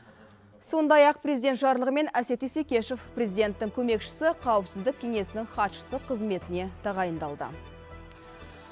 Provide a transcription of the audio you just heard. сондай ақ президент жарлығымен әсет исекешев президенттің көмекшісі қауіпсіздік кеңесінің хатшысы қызметіне тағайындалды